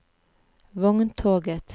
vogntoget